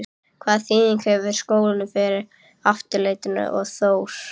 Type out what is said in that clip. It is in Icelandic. Hvaða þýðingu hefur skólinn fyrir Aftureldingu og Þór?